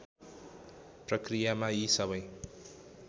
प्रक्रियामा यी सबै